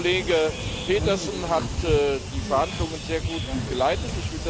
Der Kollege Petersen hat die Verhandlungen sehr gut geleitet